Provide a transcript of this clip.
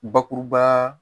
Bakuruba